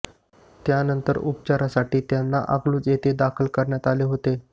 त्यानंतर उपचारासाठी त्यांना अकलूज येथे दाखल करण्यात आले होते